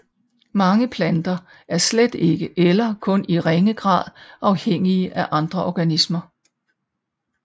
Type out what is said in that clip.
Mange planter er slet ikke eller kun i ringe grad afhængige af andre organismer